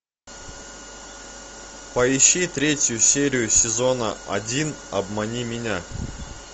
поищи третью серию сезона один обмани меня